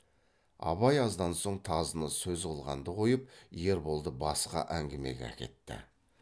абай аздан соң тазыны сөз қылғанды қойып ерболды басқа әңгімеге әкетті